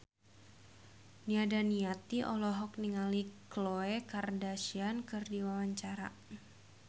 Nia Daniati olohok ningali Khloe Kardashian keur diwawancara